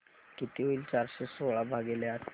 किती होईल चारशे सोळा भागीले आठ